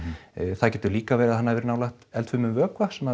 það getur líka verið að hann hafi verið nálægt eldfimum vökva sem